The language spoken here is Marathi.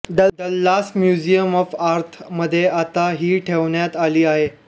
डल्लास म्युसिम ऑफ आर्त मध्ये आता हि ठेवण्यात आली आहे